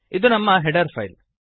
ಇದು ನಮ್ಮ header file